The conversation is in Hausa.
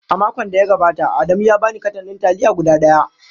A makon da ya gabata, Adamu ya ba ni katan ɗin taliya guda ɗaya.